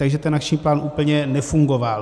Takže ten akční plán úplně nefungoval.